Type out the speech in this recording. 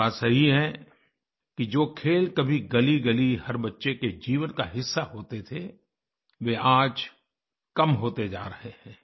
ये बात सही है कि जो खेल कभी गलीगली हर बच्चे के जीवन का हिस्सा होते थे वे आज कम होते जा रहे हैं